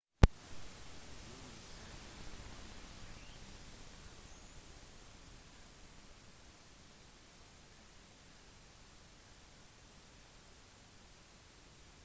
juving eller juvvandring innebærer å dra til en bunn av et juv som enten er tørr eller full av vann